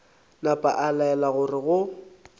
napa a laela gore go